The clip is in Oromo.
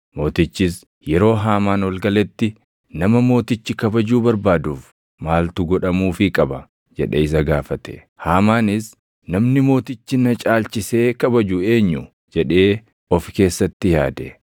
Mootichis yeroo Haamaan ol galetti, “Nama mootichi kabajuu barbaaduuf maaltu godhamuufii qaba?” jedhee isa gaafate. Haamaanis, “Namni mootichi na caalchisee kabaju eenyu?” jedhee ofi keessatti yaade.